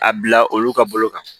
A bila olu ka bolo kan